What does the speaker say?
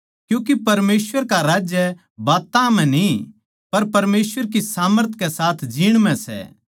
क्यूँके परमेसवर का राज्य बात्तां म्ह न्ही पर परमेसवर की सामर्थ के साथ जीण म्ह सै